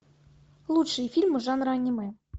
лучшие фильмы жанра аниме